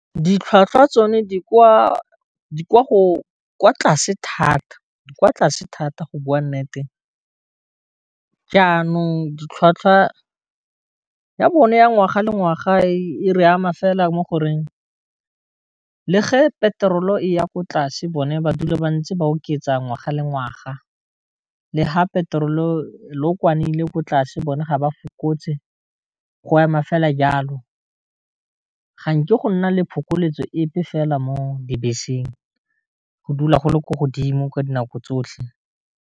Ditlhwatlhwa tsone di kwa tlase thata go bua nnete jaanong ditlhwatlhwa ya bone ya ngwaga le ngwaga e re ama fela mo goreng le ge petrol-o e ya ko tlase bone ba dula bantse ba oketsa ngwaga le ngwaga, le ha petrol lookwane leile ko tlase bone ga ba fokotse, go ema fela jalo ga nke go nna le phokoletso epe fela mo dibeseng go dula go le ko godimo ka dinako tsotlhe.